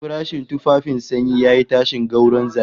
Farashin tufafin sanyi yayi tashin gwauron zabi